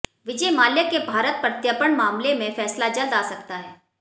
विजय माल्या के भारत प्रत्यर्पण मामले में फैसला जल्द अा सकता है